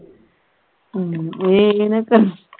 ਹਮ ਏ ਏ ਨਾ